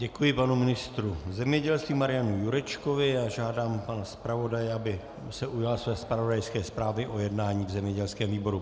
Děkuji panu ministru zemědělství Marianu Jurečkovi a žádám pana zpravodaje, aby se ujal své zpravodajské zprávy o jednání v zemědělském výboru.